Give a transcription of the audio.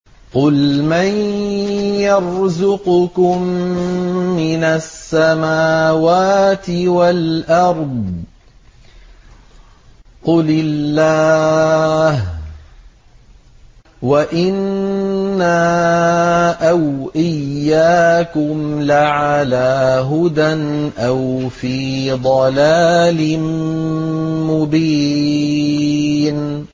۞ قُلْ مَن يَرْزُقُكُم مِّنَ السَّمَاوَاتِ وَالْأَرْضِ ۖ قُلِ اللَّهُ ۖ وَإِنَّا أَوْ إِيَّاكُمْ لَعَلَىٰ هُدًى أَوْ فِي ضَلَالٍ مُّبِينٍ